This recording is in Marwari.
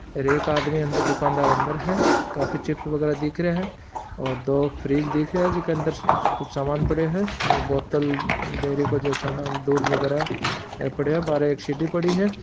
हेर एक आदमी अन्दर दुकानदार अन्दर है काफी चिप्प वगेरा दिख रिया है और दो फ्रिज दिख रिया है जिका अंदर कुछ सामान पडियो है बोतल डेयरी काे जो सामान दूध वगेरा पडयो है बाहरे एक सीढ़ी पड़ी है।